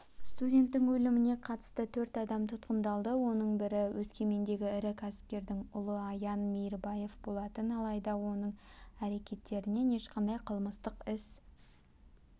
студенттің өліміне қатысты төрт адам тұтқындалды оның бірі өскемендегі ірі кәсіпкердің ұлы аян мейірбаев болатын алайда оның әрекеттерінен ешқандай қылмыстық іс